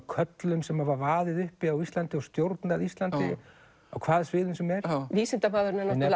körlum sem hafa vaðið uppi á Íslandi og stjórnað Íslandi á hvaða sviðum sem er vísindamaðurinn er